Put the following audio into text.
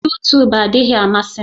Yutub adịghị amasị m